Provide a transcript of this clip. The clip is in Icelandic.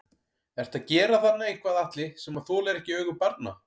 Ertu að gera þarna eitthvað Atli sem að þolir ekki augu barna?